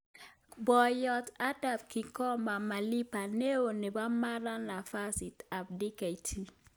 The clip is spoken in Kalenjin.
Poiyot Adam Kigoma Malima neoo nepo Mara nafasit ap Dkt